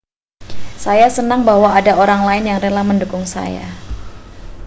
saya senang bahwa ada orang lain yang rela mendukung saya